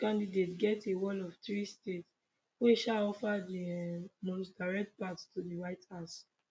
each candidate get a wall of three states wey um offer di um most direct path to di white house